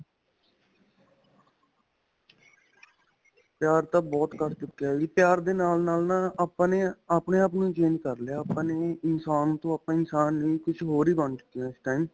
ਪਿਆਰ ਤਾਂ ਬਹੁਤ ਘੱਟ ਚੁੱਕਿਆਂ ਵੀ ਪਿਆਰ ਦੇ ਨਾਲ-ਨਾਲ ਨਾ ਆਪਾਂ ਨੇ ਆਪਣੇ ਆਪ ਨੂੰ ਹੀ change ਕਰ ਲਿਆ ਆਪਾਂ ਨੇ ਹੀ ਇਨਸਾਨ ਤੋਂ ਆਪਾਂ ਇਨਸਾਨ ਨੀ ਕੁੱਝ ਹੋਰ ਹੀ ਬਣ ਚੁੱਕੇ ਹਾਂ ਇਸ time.